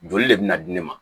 Joli de bɛ na di ne ma